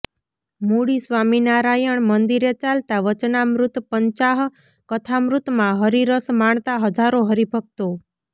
મૂળી સ્વામીનારાયણ મંદિરે ચાલતા વચનામૃત પંચાહ કથામૃતમાં હરિરસ માણતા હજારો હરિભકતો